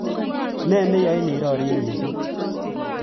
Ne neyoin irori mising